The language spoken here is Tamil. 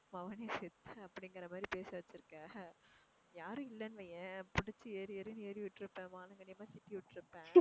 மகனே செத்த அப்படிங்குற மாதிரி பேச வச்சிருக்க. யாரும் இல்லன்னு வையேன் புடிச்சி ஏறு ஏறுன்னு ஏறி விட்டுருப்பேன் சிக்கி விட்டுருப்பேன்.